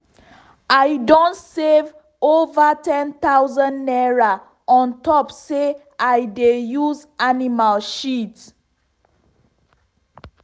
i don save over ten thousand naira ontop say i dey use animal shit.